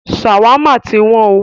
Ṣawama tí wọ́n o.